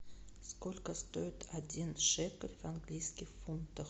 сколько стоит один шекель в английских фунтах